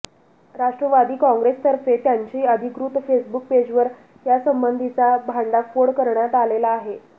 राष्ट्रवादी काँग्रेसतर्फे त्यांच्या अधिकृत फेसबुक पेजवर यासंबंधीचा भांडाफोड करण्यात आलेला आहे